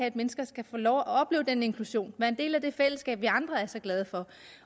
at mennesker skal få lov at opleve den inklusion være en del af det fællesskab vi andre er så glade for